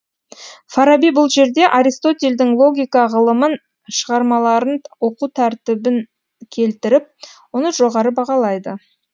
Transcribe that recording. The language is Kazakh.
фараби бұл жерде аристотельдің логика ғылымын шығармаларын оқу тәртібін келтіріп оны жоғары бағалайды